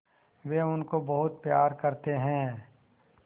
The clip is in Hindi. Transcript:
वे उनको बहुत प्यार करते हैं